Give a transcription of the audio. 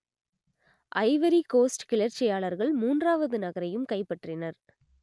Ivory Coast கிளர்ச்சியாளர்கள் மூன்றாவது நகரையும் கைப்பற்றினர்